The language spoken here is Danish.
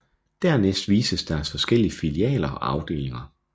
Dernæst vises deres forskellige filialer og afdelinger